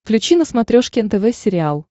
включи на смотрешке нтв сериал